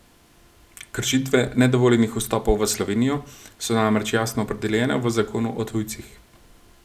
Kršitve nedovoljenih vstopov v Slovenijo so namreč jasno opredeljene v zakonu o tujcih.